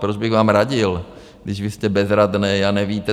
Proč bych vám radil, když vy jste bezradný a nevíte.